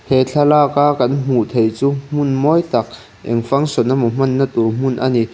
he thlalaka kan hmuh theih chu hmun mawi tak eng function emaw hmanna tur hmun a ni.